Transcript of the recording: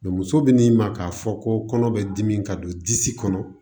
muso bɛ n'i ma k'a fɔ ko kɔnɔ bɛ dimi ka don disi kɔnɔ